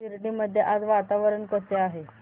शिर्डी मध्ये आज वातावरण कसे आहे